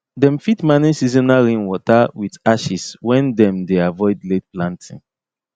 them fit manage seasonal rainwater with ashes when them dey avoid late planting